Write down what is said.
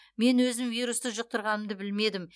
мен өзім вирусты жұқтырғанымды білмедім